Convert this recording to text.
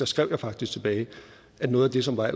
skrev jeg faktisk tilbage at noget af det som er